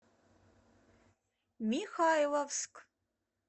михайловск